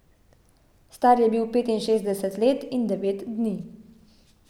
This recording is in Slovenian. Star je bil petinšestdeset let in devet dni.